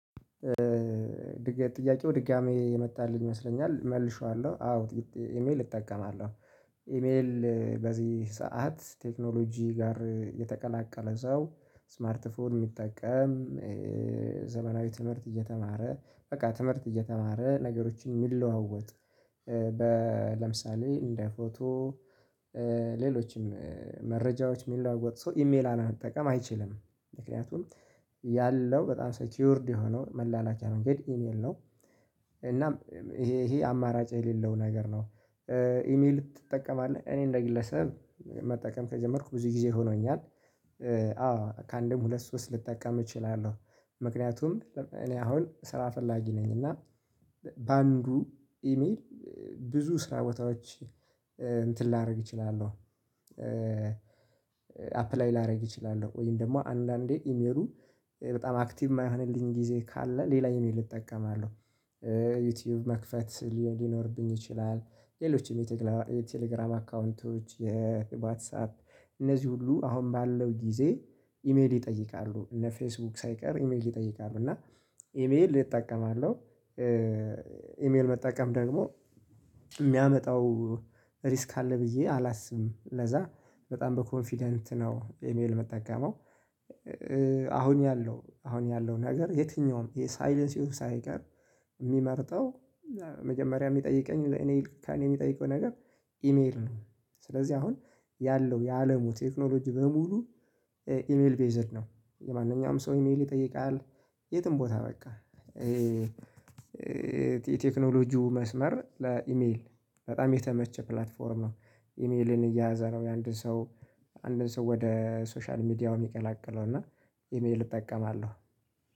ድጋሚ ጥያቄው ድጋሚ የመጣልኝ ይመስለኛል መልሼዋለሁ አዎ ኢሜል እጠቀማለሁ ኢሜል በዚህ ሰዓት ቴክኖሎጂ ጋር የተቀላቀለ ሰው ስማርት ፎን የሚጠቀም። ዘመናዊ ትምህርት እየተማረ በቃ ትምህርት እየተማረ ነገሮችን የሚለዋወጥ። ለምሳሌ እንደ ፎቶ ሌሎችም መረጃዎች የሚለዋወጥ ሰው ኢሜል አለመጠቀም አይችልም። ምክንያቱም ያለው በጣም ሴኪውርድ የሆነው መላላኪያ መንገድ ኢሜል ነው። እናም ይሄ ይሄ አማራጭ የሌለው ነገር ነው። ኢሜል ትጠቀማለህ? እኔ እንደ ግለሰብ መጠቀም ከጀመርኩ ብዙ ጊዜ ሆኖኛል። አዎ ከአንድም ሁለት ሶስት ልጠቀም እችላለሁ። ምክንያቱም እኔ አሁን ስራ ፈላጊ ነኝ እና በአንዱ ኢሜል ብዙ ስራ ቦታዎች እንትን ላደርግ እችላለሁ። አፕላይ ላደርግ እችላለሁ ወይም ደግሞ አንዳንዴ ኢሜሉ በጣም አክቲቭ የማይሆንልኝ ጊዜ ካለ ሌላ ኢሜል እጠቀማለሁ። ዩቲዩብ መክፈት ሊኖርብኝ ይችላል። ሌሎችም የቴሌግራም አካውንቶች የዋትሳፕ እነዚህ ሁሉ አሁን ባለው ጊዜ ኢሜል ይጠይቃሉ እነፌስቡክ ሳይቀር ኢሜል ይጠይቃሉ እና ኢሜል እጠቀማለሁ። ኢሜል መጠቀም ደግሞ የሚያመጣው ሪስክ አለ ብዬ አላስብም ለዛ በጣም በኮንፊደንት ነው ኢሜል የምጠቀመው። አሁን ያለው አሁን ያለው ነገር የትኛውም የሳይለንሲዋ ሳይቀር የሚመርጠው መጀመሪያ የሚጠይቀኝ እኔ ከእኔ የሚጠይቀው ነገር ኢሜል ነው። ስለዚህ አሁን ያለው የአለሙ ቴክኖሎጂ በሙሉ ኢሜል ቤዝድ ነው። የማንኛውም ሰው ኢሜል ይጠይቃል የትም ቦታ በቃ። የቴክኖሎጂው መስመር ለኢሜል በጣም የተመቸ ፕላትፎርም ነው። ኢሜልን እየያዘ ነው የአንድ ሰው አንድን ሰው ወደ ሶሻል ሚዲያው የሚቀላቀለው እና ኢሜል እጠቀማለሁ።